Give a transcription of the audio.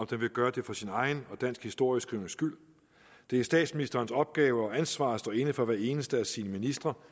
den vil gøre det for sin egen og dansk historieskrivnings skyld det er statsministerens opgave og ansvar at stå inde for hver eneste af sine ministre